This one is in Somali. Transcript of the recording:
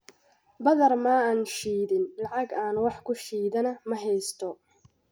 Badar ma aan shidin, lacag aan wax ku shiidana ma haysto.